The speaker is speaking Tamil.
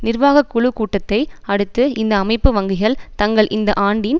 நிர்வாகக்குழுக் கூட்டத்தை அடுத்து இந்த அமைப்பு வங்கிகள் தங்கள் இந்த ஆண்டின்